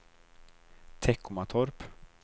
Teckomatorp